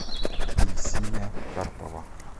ильсия карпова